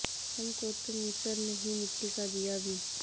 ہم کو تو میسر نہیں مٹی کا دیا بھی